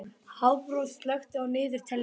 Hafrós, slökktu á niðurteljaranum.